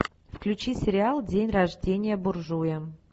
включи сериал день рождения буржуя